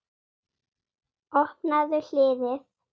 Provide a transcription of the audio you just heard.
Opnaðu hliðið.